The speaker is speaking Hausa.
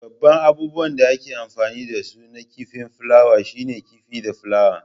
Babban abubuwan da ake amfani da su na kifin flawa shine kifi da flawa.